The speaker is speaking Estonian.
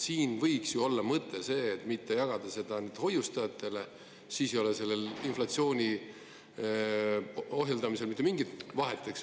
Mõte võiks ju olla see, et mitte jagada seda ainult hoiustajatele, siis ei oleks inflatsiooni ohjeldamise puhul mitte mingit vahet …